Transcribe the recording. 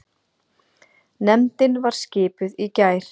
Nefndin var skipuð í gær.